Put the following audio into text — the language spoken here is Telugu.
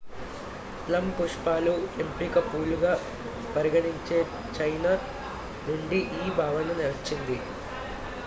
ప్లమ్ పుష్పాలు ఎంపిక పూలుగా పరిగణించే చైనా నుండి ఈ భావన వచ్చింది